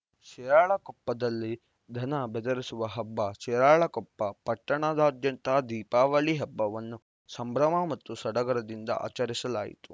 ಶಿರಾಳಕೊಪ್ಪದಲ್ಲಿ ದನ ಬೆದರಿಸುವ ಹಬ್ಬ ಶಿರಾಳಕೊಪ್ಪ ಪಟ್ಟಣದಾದ್ಯಂತ ದೀಪಾವಳಿ ಹಬ್ಬವನ್ನು ಸಂಭ್ರಮ ಮತ್ತು ಸಡಗರದಿಂದ ಆಚರಿಸಲಾಯಿತು